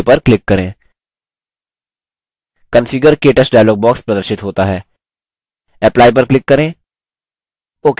configure – ktouch dialog box प्रदर्शित होता है apply पर click करें ok पर click करें